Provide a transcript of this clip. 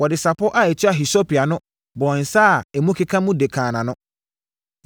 Wɔde sapɔ a ɛtua hisope ano bɔɔ nsã a emu keka mu de kaa nʼano.